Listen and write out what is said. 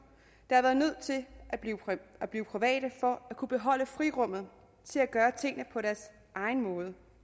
der har været nødt til at blive private for at kunne beholde frirummet til at gøre tingene på deres egen måde